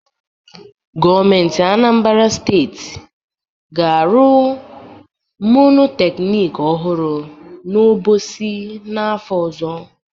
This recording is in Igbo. Gọọmentị Anambara Steeti ga-arụ monoteknik ọhụrụ n'Obosi n'afọ ọzọ.